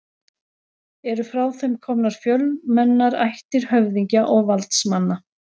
Eru frá þeim komnar fjölmennar ættir höfðingja og valdsmanna.